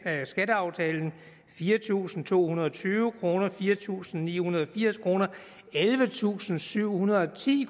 af skatteaftalen fire tusind to hundrede og tyve kr fire tusind ni hundrede og firs kr ellevetusinde og syvhundrede og ti